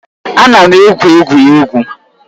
Ana m egwu egwuregwu